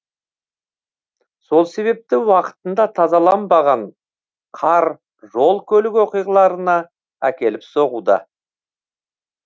сол себепті уақытында тазаланбаған қар жол көлік оқиғаларына әкеліп соғуда